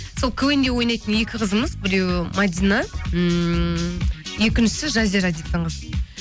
сол квн де ойнайтын екі қызымыз біреуі мәдина ммм екіншісі жазира дейтін қыз